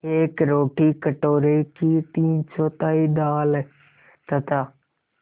एक रोटी कटोरे की तीनचौथाई दाल तथा